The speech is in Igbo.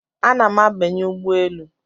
Ana m abanye ụgbọ elu